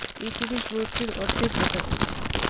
এই টুরিস্ট বোর্ডটির অর্ধেক দেখা যাচ্ছে .